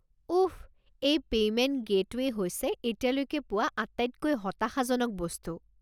উফ, এই payment gateway হৈছে এতিয়ালৈকে পোৱা আটাইতকৈ হতাশাজনক বস্তু।